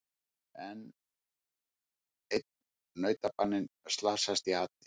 Enn einn nautabaninn slasast í ati